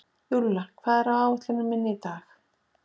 Júlla, hvað er á áætluninni minni í dag?